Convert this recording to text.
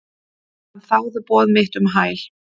Hann þáði boð mitt um hæl.